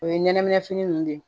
O ye ɲɛnɛminɛ fini nunnu de ye